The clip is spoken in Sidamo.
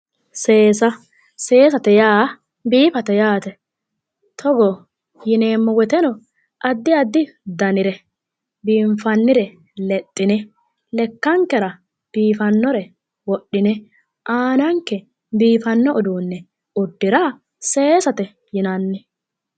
Seesa seesate yaa biifate yaate togo yineemmo woyteno addi addire biifannore lexxine lekkankera biifannore lexxine aananke biifanno uduunne uddira seesate yinanni